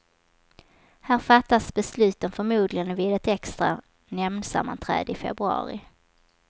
Här fattas beslutet förmodligen vid ett extra nämndsammanträde i februari.